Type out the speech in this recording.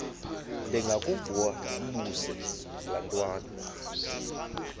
ndengakuvaubuse laa ntwana